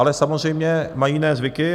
Ale samozřejmě mají jiné zvyky.